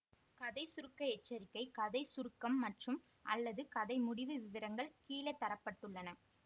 கதை சுருக்க எச்சரிக்கை கதை சுருக்கம் மற்றும்அல்லது கதை முடிவு விவரங்கள் கீழே தர பட்டுள்ளன